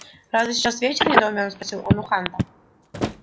разве сейчас вечер недоуменно спросил он у хана